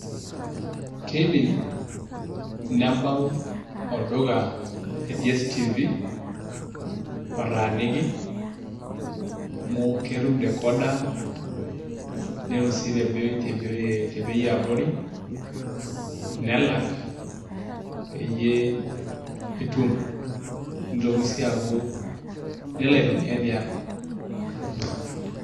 Keidim nebau olduka le DSTV lotaaniki amu ketum decoder netum sii te bei eaborii nelak peyie etum neitokii sii aaku nelo aitumia tiang'.